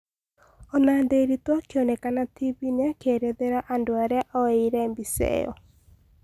Ona Nderitu akĩonekana tibiine akĩerethera andũ aria oyeire mbica ĩyo